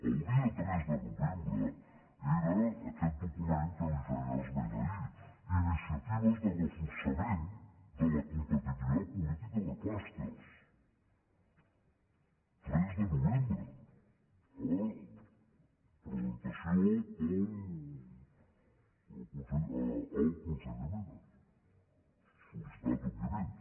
del dia tres de novembre era aquest document al qual feia esment ahir iniciatives de reforçament de la com·petitivitat política de clústers tres de novembre presen·tació al conseller mena sol·licitat òbviament